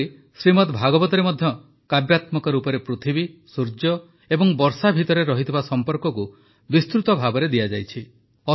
ସେହିପରି ଶ୍ରୀମଦ୍ ଭାଗବତରେ ମଧ୍ୟ କାବ୍ୟାତ୍ମକ ରୂପରେ ପୃଥିବୀ ସୂର୍ଯ୍ୟ ଓ ବର୍ଷା ଭିତରେ ରହିଥିବା ସମ୍ପର୍କକୁ ବିସ୍ତୃତ ଭାବେ ଦିଆଯାଇଛି